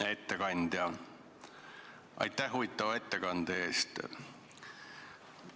Hea ettekandja, aitäh huvitava ettekande eest!